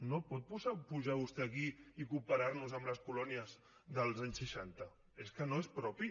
no pot pujar vostè aquí i comparar nos amb les colònies dels anys seixanta és que no és propi